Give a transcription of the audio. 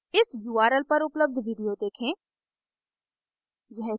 इस url पर उपलब्ध video देखें